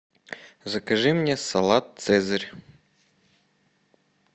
закажи мне салат цезарь